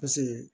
Paseke